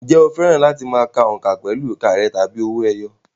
Ǹjẹ́ o fẹ́ràn láti ka òǹkà pẹ̀lú ìka rẹ̀ tàbí owó ẹyọ?